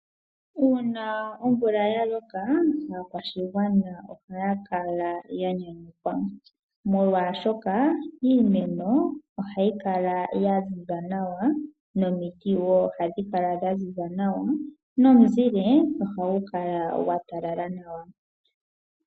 Uuna omvula ya loka aakwashigwana ohaya kala ya nyanyukwa, molwaashoka iimeno ohayi kala ya ziza nawa nomiti wo ohadhi kala dha ziza nawa nomuzile ohagu kala gwa talala nawa.